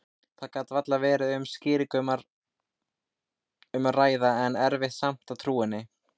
Það gat varla verið um aðra skýringu að ræða, en erfitt samt að trúa henni.